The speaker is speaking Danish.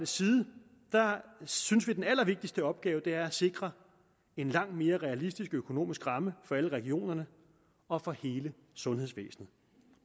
side synes vi at den allervigtigste opgave er at sikre en langt mere realistisk økonomisk ramme for alle regionerne og for hele sundhedsvæsenet